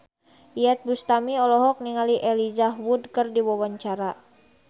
Iyeth Bustami olohok ningali Elijah Wood keur diwawancara